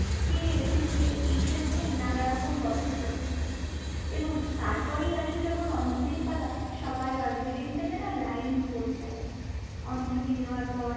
কে এসেছে এইসব নিয়েই নানারকম গল্প চলতে থাকে। এবং তারপরেই আসে যখন অঞ্জলীর পালা, সবাই অঞ্জলি দিতে যেন line পড়ে যায়। অঞ্জলি দেওয়ার পর